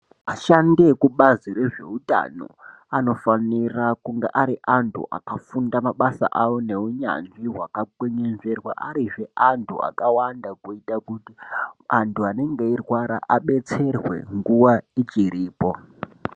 Ashandi ekubazi rezveutano, anofanira kunge ari antu akafunda mabasa awo neunyanzvi, hwakakwenenzverwa arizve antu akawanda, kuita kuti antu anenge eirwara, abetserwe nguva ichiripo.